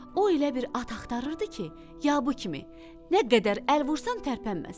O elə bir at axtarırdı ki, ya bu kimi, nə qədər əl vursan tərpənməsin.